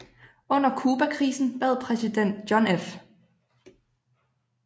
Under Cubakrisen bad præsident John F